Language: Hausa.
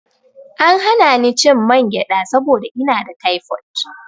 An hana ni cin mangyaɗa saboda ina da taifot.